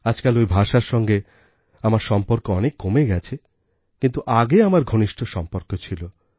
আজকাল ওই ভাষার সঙ্গে আমার সম্পর্ক অনেক কমে গেছে কিন্তু আগে আমার ঘনিষ্ঠ সম্পর্ক ছিল